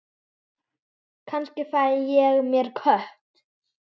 Kannski fæ ég mér kött.